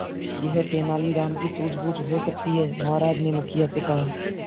यह तेनालीराम की सूझबूझ हो सकती है महाराज ने मुखिया से कहा